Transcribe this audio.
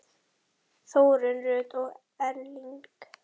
Þórunn Rut og Erling.